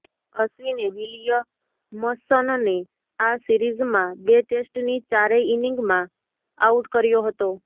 અશ્વિને વિલિયમસનને આ સિરીઝમાં બે ટેસ્ટની ચારેય ઇનિંગમાં આઉટ કર્યો હતો